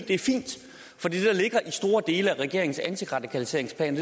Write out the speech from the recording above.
store dele af regeringens antiradikaliseringsplan